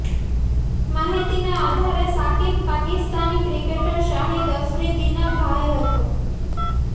માહિતીના આધારે શાકિબ પાકિસ્તાની ક્રિકેટર શાહિદ અફ્રીદીના ભાઈ હતો